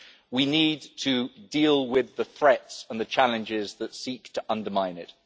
we need to deal with the threats and the challenges that seek to undermine it.